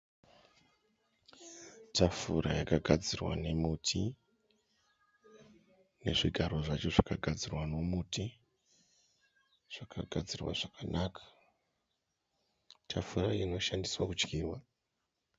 Tafura yakagadzirwa nemuti nezvigaro zvacho zvakagadzirwa nemuti. Zvakagadzirwa zvakanaka. Tafura inoshandiswa kudyirwa.